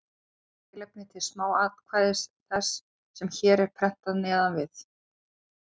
Þetta er tilefni til smákvæðis þess, sem hér er prentað neðan við.